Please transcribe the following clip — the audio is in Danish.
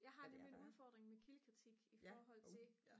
jeg har nemlig en udfordring med kildekritik i forhold til